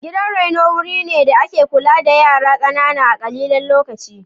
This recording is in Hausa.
Gidan raino, wuri ne da ake kula da yara ƙanana na ƙalilan lokaci.